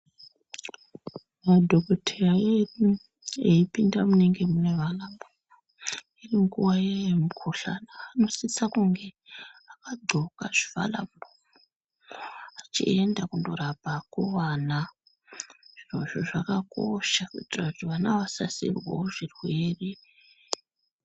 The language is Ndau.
Madhokotheya edu eipinda munenge mune vana munguwa yemukhuhlani ,vanosisa kunge vakagqoka zvivhara muromo vachienda kunorapa vana .Izvi zvakakosha kuitira kuti vana vasabatira zvirwere.